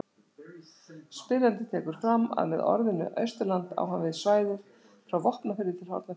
Spyrjandi tekur fram að með orðinu Austurland á hann við svæðið frá Vopnafirði til Hornafjarðar.